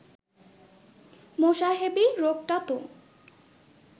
মোসাহেবি রোগটা তো